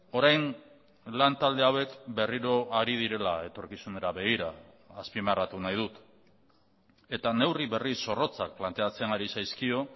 orain lan talde hauek berriro hari direla etorkizunera begira azpimarratu nahi dut eta neurri berri zorrotzak planteatzen ari zaizkio